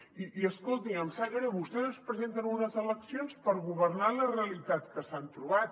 i escolti em sap greu vostès es presenten a unes eleccions per governar la realitat que s’han trobat